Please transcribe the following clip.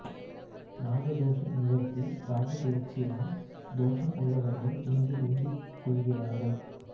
நாக தோஷ நிவர்த்தி ராகுப்பெயர்ச்சியால் தோஷம் உள்ளவர்கள் இங்கு வேண்டிக்கொள்கிறார்கள்